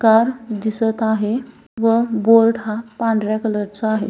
Car दिसत आहे व बोर्ड हा पांढऱ्या कलर चा आहे.